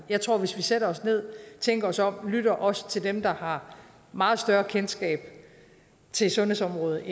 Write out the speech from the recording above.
jeg tror at hvis vi sætter os ned tænker os om og lytter også til dem der har meget større kendskab til sundhedsområdet